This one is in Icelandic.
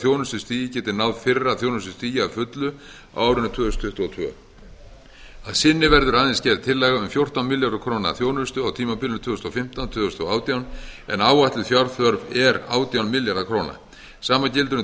þjónustustigið geti náð fyrra þjónustustigi að fullu á árinu tvö þúsund tuttugu og tvö að sinni verður aðeins gerð tillaga um fjórtán milljarða króna þjónustu á tímabilinu tvö þúsund og fimmtán til tvö þúsund og átján en áætluð fjárþörf er átján milljarðar króna sama gildir um